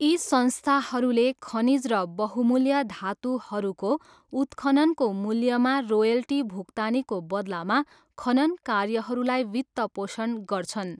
यी संस्थाहरूले खनिज र बहुमूल्य धातुहरूको उत्खननको मूल्यमा रोयल्टी भुक्तानीको बदलामा खनन कार्यहरूलाई वित्तपोषण गर्छन्।